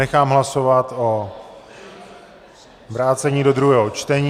Nechám hlasovat o vrácení do druhého čtení.